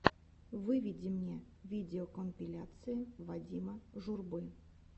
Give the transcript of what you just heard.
выведи мне видеокомпиляции вадима журбы